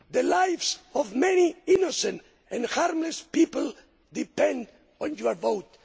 The lives of many innocent and harmless people depend on your vote.